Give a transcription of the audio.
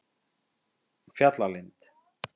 Fjallalind